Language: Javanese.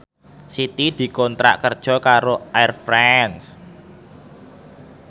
Siti dikontrak kerja karo Air France